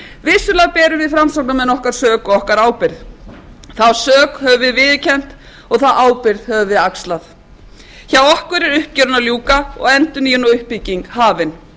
vissulega berum við framsóknarmenn okkar sök og okkar ábyrgð þá sök höfum við viðurkennt og þá ábyrgð höfum við axlað hjá okkur er uppgjörinu að ljúka og endurnýjun og uppbygging hafin